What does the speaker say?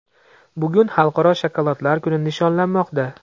Bugun Xalqaro shokoladlar kuni nishonlanmoqda .